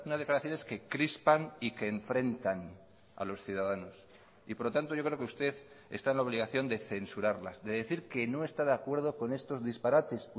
declaraciones que crispan y que enfrentan a los ciudadanos y por lo tanto yo creo que usted está en la obligación de censurarlas de decir que no está de acuerdo con estos disparates